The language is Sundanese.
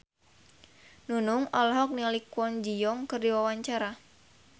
Nunung olohok ningali Kwon Ji Yong keur diwawancara